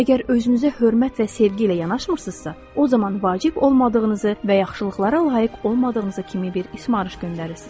Əgər özünüzə hörmət və sevgi ilə yanaşmırsınızsa, o zaman vacib olmadığınızı və yaxşılıqlara layiq olmadığınızı kimi bir ismarış göndərirsiz.